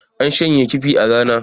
an shanya kifi a Rana